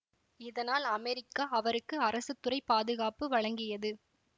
இதனால் அமெரிக்கா அவருக்கு அரசுத்துறைப் பாதுகாப்பு வழங்கியது